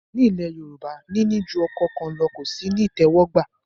Ní ilẹ̀ Yorùbá, níní ju ọkọ kan lọ ò sí ní ìtẹ́wọ́gbà